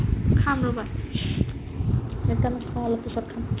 খাম ৰ'বা এতিয়া নাখাও অলপ পিছত খাম